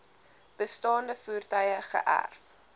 bestaande voertuie geërf